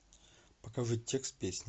покажи текст песни